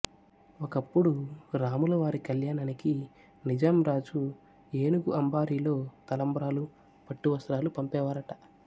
ఒకప్పుడు రాములవారి కళ్యాణానికి నిజాంరాజు ఏనుగు అంబారీలో తలంబ్రాలు పట్టువస్త్రాలు పంపేవారట